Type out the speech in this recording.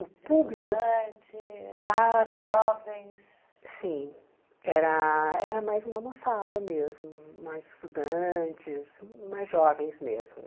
O público? Estudantes, ah tá jovens... Sim, era era mais uma moçada mesmo, mais estudantes, mais jovens mesmo.